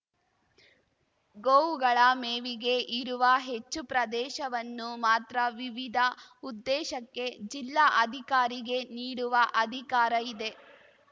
ಗೋವುಗಳ ಮೇವಿಗೆ ಇರುವ ಹೆಚ್ಚು ಪ್ರದೇಶವನ್ನು ಮಾತ್ರ ವಿವಿಧ ಉದ್ದೇಶಕ್ಕೆ ಜಿಲ್ಲಾ ಅಧಿಕಾರಿಗೆ ನೀಡುವ ಅಧಿಕಾರ ಇದೆ